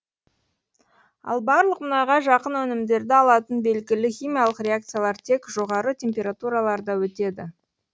ал барлық мұнайға жақын өнімдерді алатын белгілі химиялық реакциялар тек жоғары температураларда өтеді